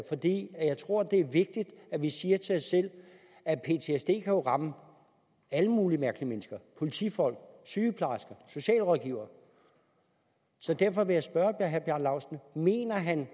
fordi jeg tror at det er vigtigt at vi siger til os selv at ptsd jo kan ramme alle mulige mennesker politifolk sygeplejersker socialrådgivere så derfor vil jeg spørge herre bjarne laustsen mener herre